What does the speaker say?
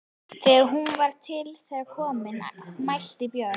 Þegar hún var til þeirra komin mælti Björn